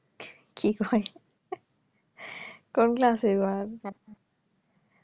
কি কয় কোন class হইবো এবার